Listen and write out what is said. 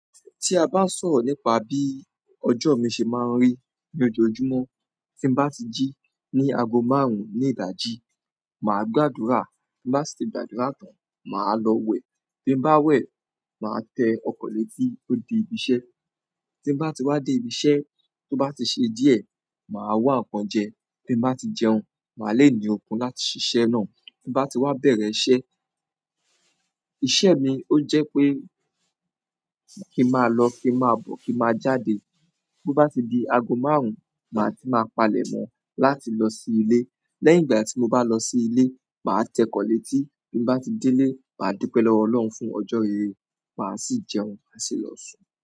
Tí a bá sọ̀rọ̀ nípa bí ọjọ́ mi ṣe máa ń rí ní ojoojúmọ́, tí n bá ti jí ní ago márùn-ún ní ìdaji. Màá gbàdúrà, tí n bá si ti gbàdúrà tán, màá lọ wẹ̀, bi n bá wẹ̀, màá tẹ ọkọ̀ létí ó di ibi iṣẹ́, tí n bá ti wá dé ibi iṣẹ́, tó bá ti ṣe díẹ̀, màá wá ń kan jẹ, tí bá ti jẹun, màá léèní ọkùn láti ṣíṣẹ́ náà, tí n bá ti wá bẹ̀rẹ̀ iṣẹ́, iṣẹ́ mi ó jẹ́ pé kí máa lọ, kí máa bọ̀, kí máa jáde, tó bá ti di ago márùn-ún, màá ti máa palẹ̀mọ́ láti lọ sí ilé, lẹ́yìn ìgbà tí mo bá lọ sí ilé, màá tẹkọ̀ létí, tí n bá ti dé lé, màá dúpẹ́ lọ́wọ́ Ọlọ́run fún ọjọ́ rere, màá sì jẹun, màá sì lọ sùn.